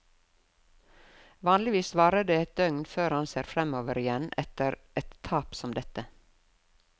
Vanligvis varer det et døgn før han ser fremover igjen etter et tap som dette.